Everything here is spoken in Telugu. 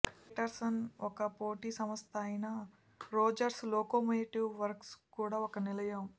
పేటెర్సన్ ఒక పోటీ సంస్థ అయిన రోజర్స్ లోకోమోటివ్ వర్క్స్ కు కూడా నిలయం